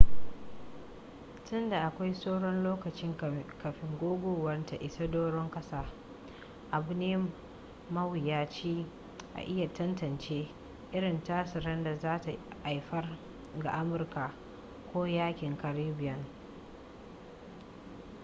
tun da akwai sauran lokaci kafin guguwar ta isa doron ƙasa abu ne mawuyaci a iya tantance irin tasirin da za ta haifar ga amurka ko yankin caribbean